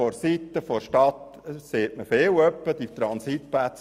Seitens der Stadt wird oft gesagt, es brauche Transitplätze.